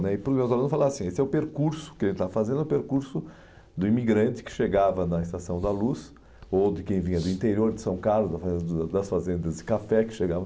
né E os meus alunos, eu falava assim, esse é o percurso que a gente estava fazendo, é o percurso do imigrante que chegava na Estação da Luz, ou de quem vinha do interior de São Carlos, das fazendas de café que chegavam...